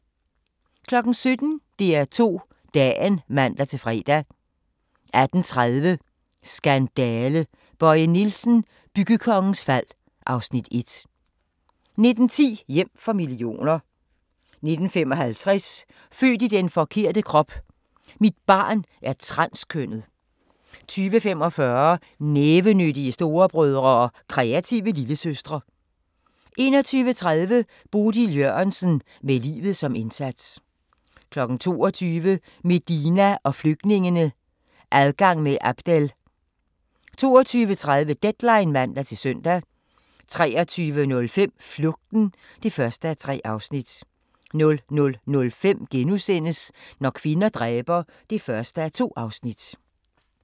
17:00: DR2 Dagen (man-fre) 18:30: Skandale! – Bøje Nielsen, byggekongens fald (Afs. 1) 19:10: Hjem for millioner 19:55: Født i den forkerte krop: Mit barn er transkønnet 20:45: Nævenyttige storebrødre og kreative lillesøstre 21:30: Bodil Jørgensen – med livet som indsats 22:00: Medina og flygtningene – Adgang med Abdel 22:30: Deadline (man-søn) 23:05: Flugten (1:3) 00:05: Når kvinder dræber (1:2)*